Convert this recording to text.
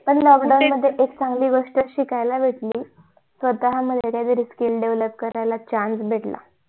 पण lockdown मध्ये एकचांगली गोष्ट शिकायला भेटली स्वतः मध्ये काही तरी skills develop करायला chance भेटला